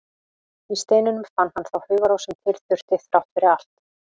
Í steininum fann hann þá hugarró sem til þurfti, þrátt fyrir allt.